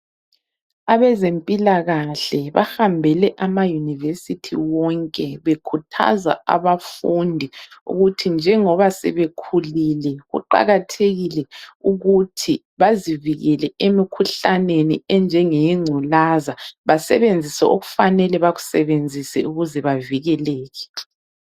Abezempilakahle bahambele amaUnivesithi wonke bekhuthaza abafundi ukuthi njengoba sebekhulile kuqakathekile ukuthi bazivikele emkhuhlaneni enjenge yegculaza basebenzise okufanele bekusebenzise ukuze bavikeleke.